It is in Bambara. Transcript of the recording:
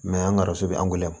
an ga so bɛ angɛrɛ